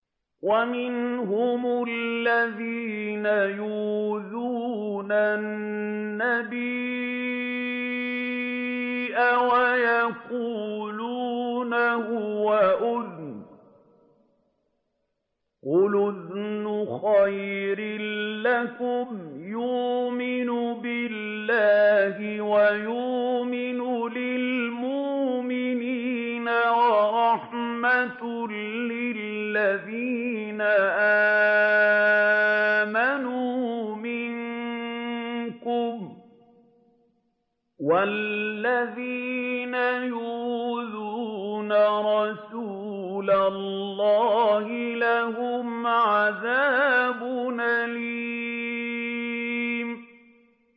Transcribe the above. وَمِنْهُمُ الَّذِينَ يُؤْذُونَ النَّبِيَّ وَيَقُولُونَ هُوَ أُذُنٌ ۚ قُلْ أُذُنُ خَيْرٍ لَّكُمْ يُؤْمِنُ بِاللَّهِ وَيُؤْمِنُ لِلْمُؤْمِنِينَ وَرَحْمَةٌ لِّلَّذِينَ آمَنُوا مِنكُمْ ۚ وَالَّذِينَ يُؤْذُونَ رَسُولَ اللَّهِ لَهُمْ عَذَابٌ أَلِيمٌ